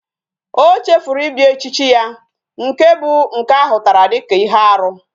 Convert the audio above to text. O chefuru ibia echichi ya. Nke bu nke ahutara dika ihe aru